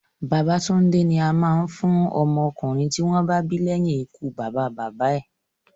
Babatúndé ni a máa ń fún ọmọ ọkùnrin tí wọ́n bá bí leyin ikú bàbá bàbá ẹ̀